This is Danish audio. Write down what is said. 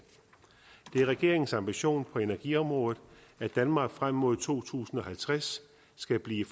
det er regeringens ambition på energiområdet at danmark frem mod to tusind og halvtreds skal blive